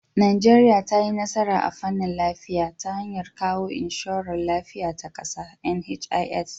Najeriya ta yi nasara a fannin lafiya ta hanyar kawo inshorar lafiya ta kasa (NHIS).